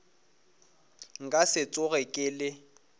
nka se tsoge ke le